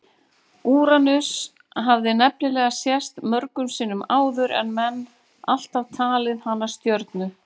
Úranus hafði nefnilega sést mörgum sinnum áður en menn alltaf talið hana stjörnu.